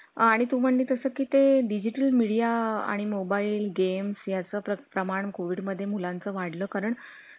आणि तुमच्या आशीर्वादाने दोन तीन गिर्हाईक आले की आम्हाला तेवढंच पुण्य लागल.